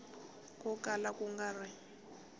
ko kala ku nga ri